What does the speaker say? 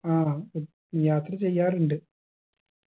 ആ ഉം യാത്ര ചെയ്യാറുണ്ട്